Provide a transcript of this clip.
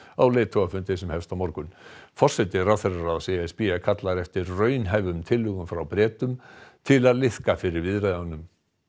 á leiðtogafundi sem hefst á morgun forseti ráðherraráðs e s b kallar eftir raunhæfum tillögum frá Bretum til að liðka fyrir viðræðunum